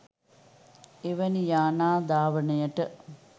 එවැනි යානා ධාවනයට